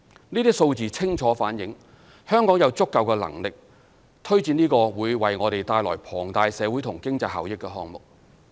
這些數字清楚反映香港有足夠能力推展這個會為我們帶來龐大社會和經濟效益的項目。